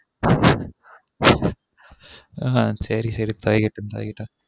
ஆஹ் சேரி சேரி பழகிட்டொம் பழகிட்டொம்